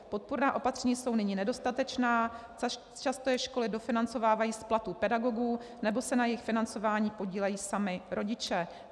Podpůrná opatření jsou nyní nedostatečná, často je školy dofinancovávají z platů pedagogů nebo se na jejich financování podílejí sami rodiče.